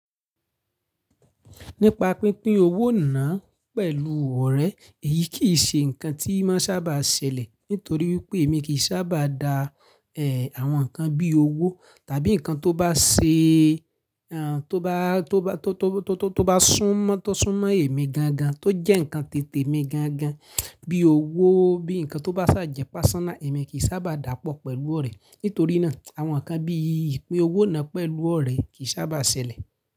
Nípa pínpín owó náà pẹ̀lú ọ̀rẹ́, èyí kì í ṣe ǹkan tí máa sábà ṣẹlẹ̀ nítorí wípé èmi kì í sábà dá, àwọn nǹkan bí owó tàbí nǹkan tó bá ṣe, tó bá, tó bá, tó, tó, tó bá sún mọ́, tó sún mọ́ èmi gan gan, tó jẹ́ ǹkan titè mi gan gan bí owó, bí ǹkan tó bá ṣàjẹ́ personal èmi kì í sábà dapọ̀ pẹ̀lú ọ̀rẹ́. Nítorí náà àwọn ǹkan bí ìpín owó náà pẹ̀lú ọ̀rẹ́ kì í sábà ṣẹlẹ̀.